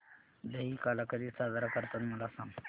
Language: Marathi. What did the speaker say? दहिकाला कधी साजरा करतात मला सांग